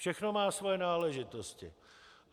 Všechno má svoje náležitosti.